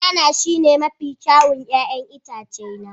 Banana shine mafi kyawun 'ya'yan itace na